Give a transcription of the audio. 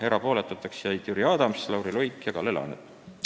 Erapooletuks jäid Jüri Adams, Lauri Luik ja Kalle Laanet.